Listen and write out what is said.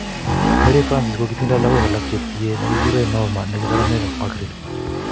Mary Francis kokitindoi lakok alak che tye nekikurei norma neki saramek ak Margaret